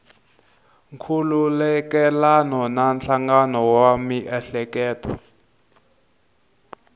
nkhulukelano na nhlangano wa miehleketo